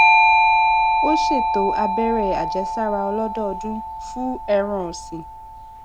ó ṣètò abere ajesara olodoodun fun ẹran òsìn